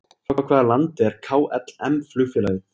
Frá hvaða landi er KLM flugfélagið?